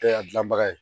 E y'a dilanbaga ye